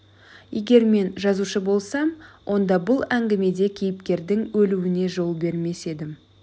егер мен жазушы болсам онда бұл әңгімеде кейіпкердің өлуіне жол бермес едім